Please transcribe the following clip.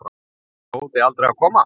Ætlaði Tóti aldrei að koma?